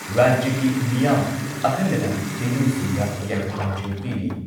ꯔꯥꯖ꯭ꯌꯒꯤ ꯃꯤꯌꯥꯝ ꯑꯈꯟꯅꯅ ꯍꯤꯟꯗꯨꯁꯤꯡꯗ ꯌꯥꯏꯐ ꯄꯥꯎꯖꯦꯜ ꯄꯤꯔꯤ ꯫